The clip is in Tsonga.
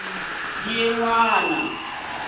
ya n wina hi ri